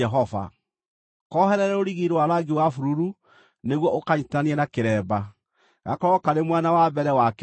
Koherere rũrigi rwa rangi wa bururu nĩguo ũkanyiitithanie na kĩremba, gakorwo karĩ mwena wa mbere wa kĩremba.